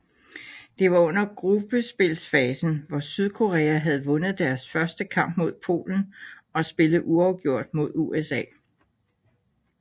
Det var under gruppespilsfasen hvor Sydkorea havde vundet deres første kamp mod Polen og spillet uafgjort mod USA